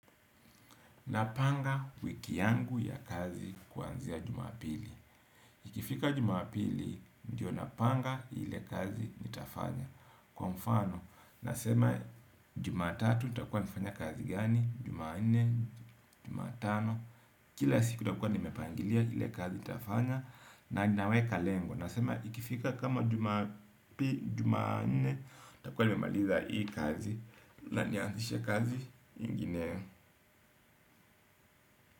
Napanga wiki yangu ya kazi kuanzia jumapili. Ikifika jumapili, ndiyo napanga ile kazi nitafanya. Kwa mfano, nasema jumatatu, nitakuwa nafanya kazi gani. Jumanne, jumatano. Kila siku nitakuwa nimepangilia ile kazi nitafanya. Na naweka lengo. Nasema ikifika kama jumapi, jumanne nitakuwa nimemaliza hii kazi. Na nianzishe kazi ingine.